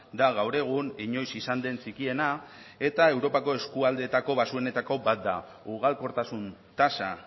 da gaur egun inoiz izan den txikiena eta europako eskualdeetako baxuenetako bat da ugalkortasun tasa